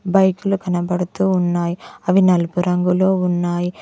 బైక్లు కనబడుతూ ఉన్నాయి అవి నలుపు రంగులో ఉన్నాయి.